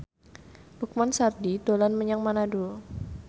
Lukman Sardi dolan menyang Manado